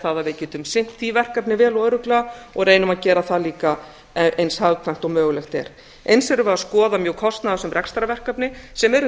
það að við getum sinnt því verkefni vel og örugglega og reynum að gera það líka eins hagkvæmt og mögulegt er eins þurfum við að skoða mjög kostnaðarsöm rekstrarverkefni sem eru